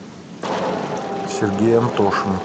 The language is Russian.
сергей антошин